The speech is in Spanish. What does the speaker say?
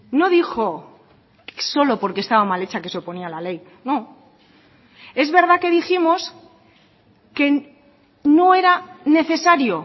no dijo solo porque estaba mal hecha que se oponía a la ley no es verdad que dijimos que no era necesario